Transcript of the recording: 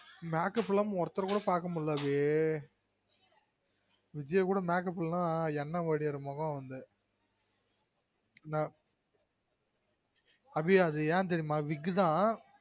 Makeup இல்லாம ஒருத்தர் கூட பாக்கமுல்ல அபி விஜய் கூட makeup இல்லனா என்னை வழியர மொகம் அபி என் தெரியுமா wig தான்